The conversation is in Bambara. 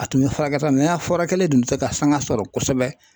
A tun bɛ furakɛ sa a furakɛlen in dun tɛ se ka sanga sɔrɔ kosɛbɛ.